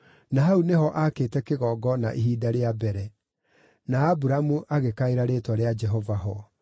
na hau nĩho aakĩte kĩgongona ihinda rĩa mbere. Na Aburamu agĩkaĩra rĩĩtwa rĩa Jehova ho.